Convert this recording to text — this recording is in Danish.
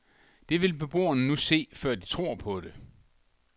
Det vil beboerne nu se, før de tør tro det.